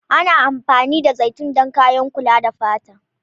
Ana amfani da zaitun don kayan kula da fata.